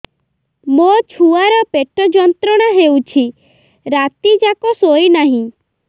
ମୋ ଛୁଆର ପେଟ ଯନ୍ତ୍ରଣା ହେଉଛି ରାତି ଯାକ ଶୋଇନାହିଁ